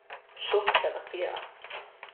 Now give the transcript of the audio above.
Šok terapija.